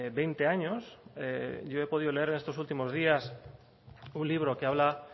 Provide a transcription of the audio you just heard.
veinte años yo he podido leer en estos últimos días un libro que habla